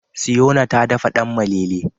Siyona ta dafa danmalele.